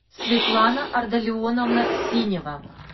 светлана ардалионовна синева